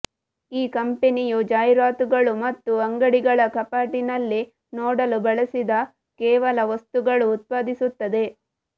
ಈ ಕಂಪನಿಯು ಜಾಹೀರಾತುಗಳು ಮತ್ತು ಅಂಗಡಿಗಳ ಕಪಾಟಿನಲ್ಲಿ ನೋಡಲು ಬಳಸಿದ ಕೇವಲ ವಸ್ತುಗಳು ಉತ್ಪಾದಿಸುತ್ತದೆ